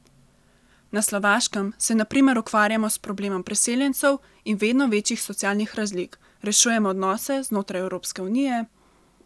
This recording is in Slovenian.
Na Slovaškem se na primer ukvarjamo s problemom priseljencev in vedno večjih socialnih razlik, rešujemo odnose znotraj Evropske unije ...